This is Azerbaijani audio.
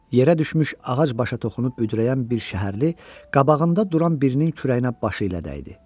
Yərə düşmüş ağac başa toxunub büdrəyən bir şəhərli qabağında duran birinin kürəyinə başı ilə dəydi.